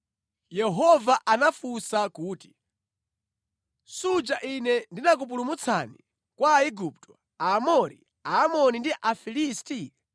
Yehova anawafunsa kuti, “Suja ine ndinakupulumutsani kwa Aigupto, Aamori, Aamoni ndi Afilisti?